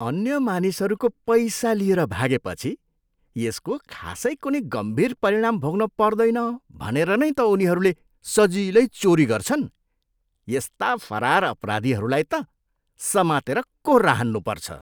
अन्य मानिसहरूको पैसा लिएर भागेपछि यसको खासै कुनै गम्भीर परिणाम भोग्न पर्दैन भनेर नै त उनीहरूले सजिलै चोरी गर्छन्। यस्ता फरार अपराधीहरूलाई त समातेर कोर्रा हान्नुपर्छ।